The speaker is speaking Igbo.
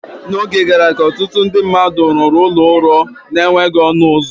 N’oge gara aga, ọtụtụ ndị rụrụ ụlọ ụrọ na-enweghị ọnụ ụzọ.